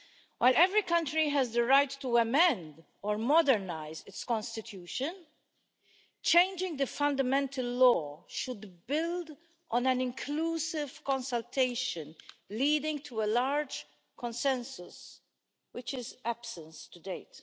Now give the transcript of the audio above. While every country has the right to amend or modernise its constitution, changing the fundamental law should build on an inclusive consultation leading to a large consensus, which is absent to date.